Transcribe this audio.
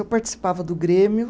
Eu participava do Grêmio.